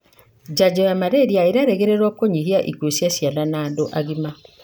janjo ya malaria ĩrerĩgĩrĩrũo kũnyihia ĩkũu cia ciana na andũ agima.